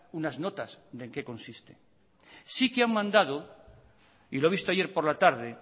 unas notas de en qué consiste sí que han mandado y lo he visto ayer por la tarde